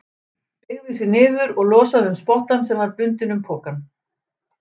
Beygði sig niður og losaði um spottann sem var bundinn um pokann.